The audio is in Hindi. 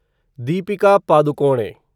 दीपिका पादुकोणे